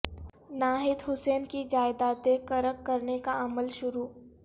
ناہید حسن کی جائیدادیں قرق کرنے کا عمل شروع